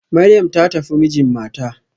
Maryam ta tafi mijin mata